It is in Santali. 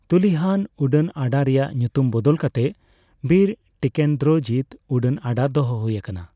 ᱛᱩᱞᱤᱦᱟᱞ ᱩᱰᱟᱹᱱ ᱟᱰᱟ ᱨᱮᱭᱟᱜ ᱧᱩᱛᱩᱢ ᱵᱚᱫᱚᱞ ᱠᱟᱛᱮ ᱵᱤᱨ ᱴᱤᱠᱮᱱᱫᱨᱚᱡᱤᱛ ᱩᱰᱟᱹᱱ ᱟᱰᱟ ᱫᱚᱦᱚ ᱦᱩᱭ ᱟᱠᱟᱱᱟ᱾